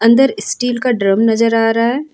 अंदर स्टील का ड्रम नजर आ रहा है।